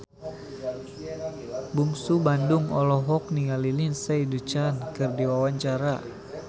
Bungsu Bandung olohok ningali Lindsay Ducan keur diwawancara